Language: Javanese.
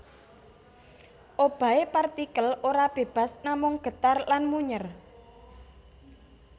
Obahe partikel ora bebas namung getar lan munyèr